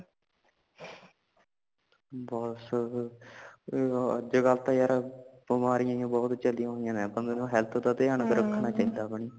ਬਸ ਅੱਜ ਕਲ ਤਾ ਯਾਰ ਬਿਮਾਰੀਆਂ ਹੀ ਬਹੁਤ ਚਲੀਆਂ ਹੋਈਆਂ ਨੇ ਆਪਾ ਨੂੰ health ਦਾ ਤਾ ਤਿਯਾਂ ਰੱਖਣਾ ਚਾਹੀਦਾ ਆਪਣੀ